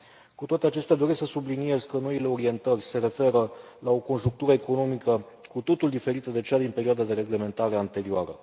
Cu toate acestea, doresc să subliniez că noile orientări se referă la o conjunctură economică cu totul diferită de cea din perioada de reglementare anterioară.